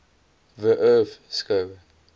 the earth skou